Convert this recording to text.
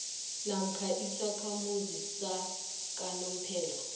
namkha isakhamuzi sakanomphela